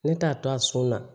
Ne t'a to a sun na